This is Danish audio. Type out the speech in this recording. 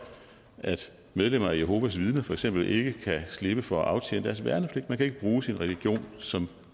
at medlemmer af jehovas vidner for eksempel ikke kan slippe for at aftjene deres værnepligt man kan ikke bruge sin religion som